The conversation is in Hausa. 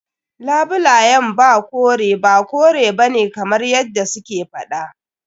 Labulayen ba kore ba kore bane kamar yadda su ke faɗa.